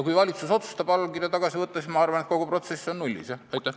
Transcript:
Kui valitsus otsustab allkirja tagasi võtta, siis ma arvan, et kogu protsess on nullis, jah.